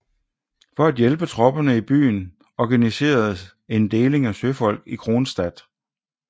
For at hjælpe tropperne i byen organiseres en en deling af søfolk i Kronstadt